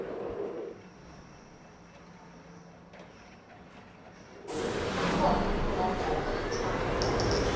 kukhona ummongondaba yethando